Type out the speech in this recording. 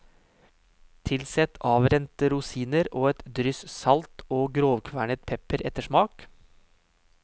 Tilsett avrente rosiner og et dryss salt og grovkvernet pepper etter smak.